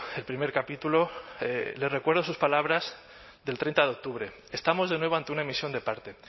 el primer capítulo le recuerdo sus palabras del treinta de octubre estamos de nuevo ante una emisión de parte